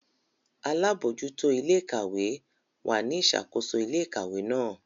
Alabojuto ile-ikawe wa ni isakoso ile-ikawe náà.